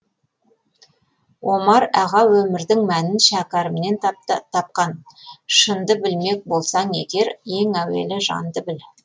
омар аға өмірдің мәнін шәкәрімнен тапқан шынды білмек болсаң егер ең әуелі жанды біл